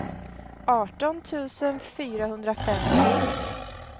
arton tusen fyrahundrafemtio